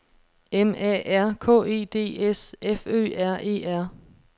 M A R K E D S F Ø R E R